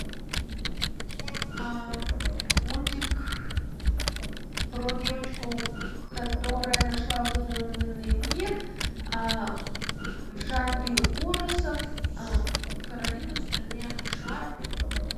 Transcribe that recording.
мультик про девочку которая нашла выдуманный мир в жанре ужасов каролина в стране кошмаров